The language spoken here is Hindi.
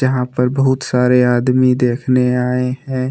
यहां पर बहुत सारे आदमी देखने आए हैं।